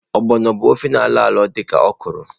Ogbono bu ofe na alọalọ dị ka okwụrụ.